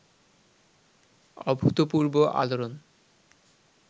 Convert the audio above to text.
অভূতপূর্ব আলোড়ন